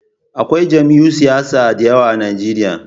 Akwai jam'iyun siyasa da yawa a Nijeriya